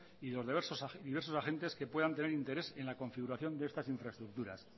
y los diversos agentes que puedan tener interés en la configuración de estas infraestructuras